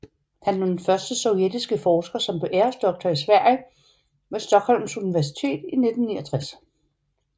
Han var den første sovjetiske forsker som blev æresdoktor i Sverige ved Stockholms Universitet i 1969